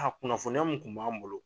A kunnafoniya mun kun b'an bolo